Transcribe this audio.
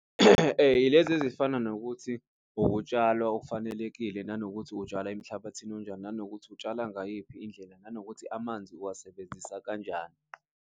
Ilezi ezifana nokuthi ukutshalwa okufanelekile nanokuthi utshala emhlabathini onjani, nanokuthi utshala ngayiphi indlela, nanokuthi amanzi uwasebenzisa kanjani.